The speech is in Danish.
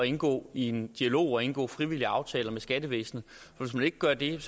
indgå i en dialog og indgå frivillige aftaler med skattevæsenet hvis man ikke gør det